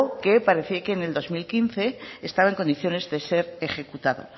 que parecía que en el dos mil quince estaba en condiciones de ser ejecutado